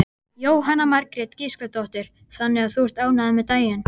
Jóhanna Margrét Gísladóttir: Þannig að þú ert ánægður með daginn?